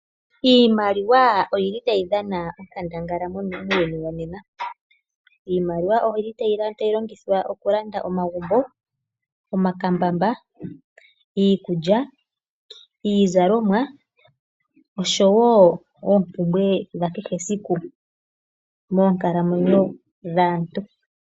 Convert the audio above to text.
Iimaliwa oyili tayi dhana onkandangala muuyuni wonena, iimaliwa oyili tayi longithwa okulanda omagumbo, omakambamba, iikulya, iizalomwa osho wo oombumbwe dha kehe esiku moonkalamwenyo dhaantu.